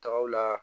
Tagaw la